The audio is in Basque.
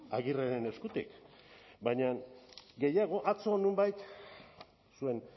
agirreren eskutik baina gehiago atzo nonbait zuen